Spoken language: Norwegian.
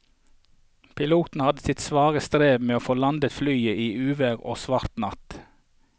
Piloten hadde sitt svare strev med å få landet flyet i uvær og svart natt.